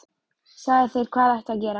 Sagði þér hvað ætti að gera.